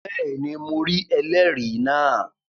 Bẹ́ẹ̀ni, mo rí ẹlẹ́rìí náà